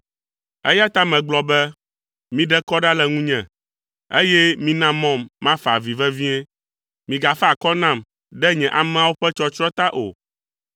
Eya ta megblɔ be, “Miɖe kɔ ɖa le ŋunye, eye mina mɔm mafa avi vevie. Migafa akɔ nam ɖe nye ameawo ƒe tsɔtsrɔ̃ ta o”,